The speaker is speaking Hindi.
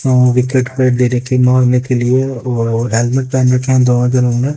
उन विकेट पे मारने के लिए ओ हेलमेट पहेन रखे है दो में--